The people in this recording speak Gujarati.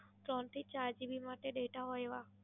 ત્રણથી ચાર GB માટે Data હોય એવા